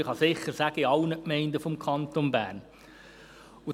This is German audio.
Man kann sicher sagen, das sei in allen Gemeinden des Kantons Bern so.